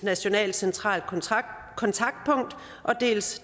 nationalt centralt kontaktpunkt dels